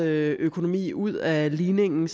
økonomi ud af ligningen